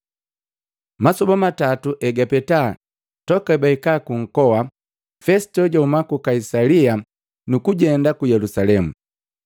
Masoba matatu egapeta toka hebahika ku nkoa, Fesito jahuma ku Kaisalia, nukujenda ku Yelusalemu.